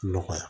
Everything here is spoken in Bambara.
Nɔgɔya